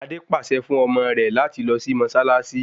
Adé pàṣẹ fún ọmọ rẹ láti lọ sí mọ́ṣáláṣí